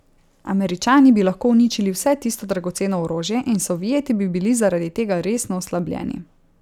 Američani bi lahko uničili vse tisto dragoceno orožje, in Sovjeti bi bili zaradi tega resno oslabljeni.